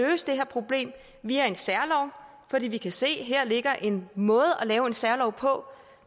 løse det her problem via en særlov fordi vi kan se at her ligger en måde at lave en særlov på